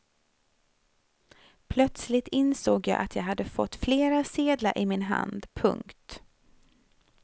Plötsligt insåg jag att jag hade fått flera sedlar i min hand. punkt